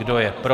Kdo je pro?